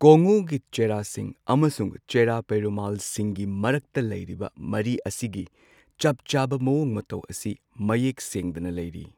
ꯀꯣꯡꯉꯨꯒꯤ ꯆꯦꯔꯥꯁꯤꯡ ꯑꯃꯁꯨꯡ ꯆꯦꯔꯥ ꯄꯦꯔꯨꯃꯜꯁꯤꯡꯒꯤ ꯃꯔꯛꯇ ꯂꯩꯔꯤꯕ ꯃꯔꯤ ꯑꯁꯤꯒꯤ ꯆꯞꯆꯥꯕ ꯃꯋꯣꯡ ꯃꯇꯧ ꯑꯁꯤ ꯃꯌꯦꯛ ꯁꯦꯡꯗꯅ ꯂꯩꯔꯤ꯫